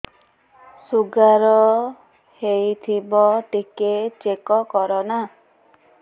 sugar ହେଇଥିବ ଟିକେ check କର ନା